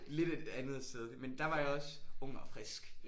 Lidt et andet sted men der var jeg også ung og frisk